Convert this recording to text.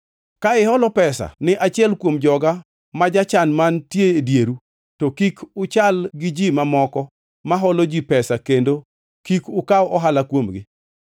“Ka iholo pesa ni achiel kuom joga ma jachan mantie e dieru, to kik uchal gi ji mamoko ma holo ji pesa kendo kik ukaw ohala kuomgi.